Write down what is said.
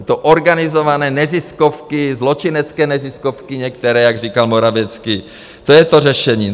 Je to organizované, neziskovky, zločinecké neziskovky, některé, jak říkal Morawiecki, to je to řešení.